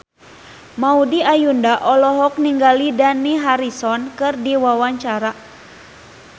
Maudy Ayunda olohok ningali Dani Harrison keur diwawancara